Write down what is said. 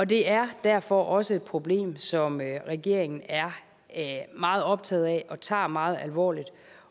det er derfor også et problem som regeringen er meget optaget af og tager meget alvorligt